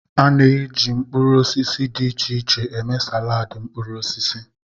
A na-eji mkpụrụ osisi dị iche iche eme saladi mkpụrụ osisi.